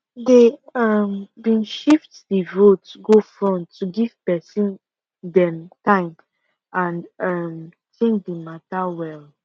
dey um been shift the vote go front to give pesin dem time and um think the matter well